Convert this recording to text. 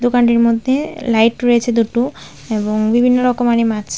দোকানটির মধ্যে লাইট রয়েছে দুটো এবং বিভিন্ন রকমারি মাছ।